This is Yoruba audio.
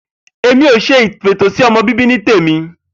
Èmi ò s̩e ìfètòsó̩mo̩ bíbí ní tèmi